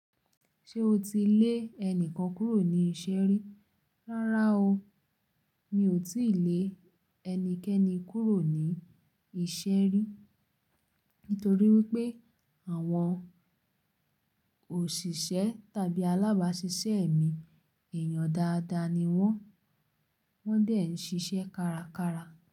Ṣé o ti lé ẹnikan kúrò ní iṣẹ́ rí? Rárá o, mi ò tíì lé ẹnikẹ́ni kúrò ní iṣẹ́ rí. Nítorí wípé àwọn òṣìṣẹ́ tàbí alábàáṣiṣẹ́ mi, èèyàn dáadáa ni wón, wón dẹ̀ ń ṣiṣẹ́ kárakára.